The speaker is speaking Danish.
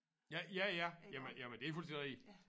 Ja ja ja jamen jamen det er fuldstændig rigtigt